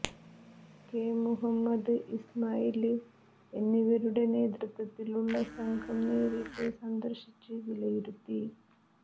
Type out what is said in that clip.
K Muhammad Ismail എന്നിവരുടെ നേതൃത്വത്തിലുള്ള സംഘം നേരിട്ട് സന്ദര്ശിച്ച് വിലയിരുത്തി